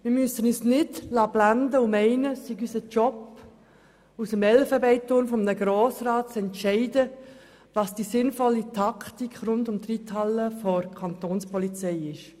Wir dürfen uns nicht blenden lassen und meinen, es sei unser Job, aus dem Elfenbeinturm eines Grossen Rats heraus zu entscheiden, welche Taktik der Kantonspolizei rund um die Reithalle sinnvoll ist.